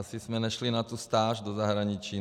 Asi jsme nešli na tu stáž do zahraničí.